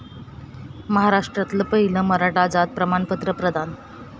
महाराष्ट्रातलं पहिलं मराठा जात प्रमाणपत्र प्रदान